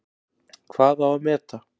Hvað á að meta?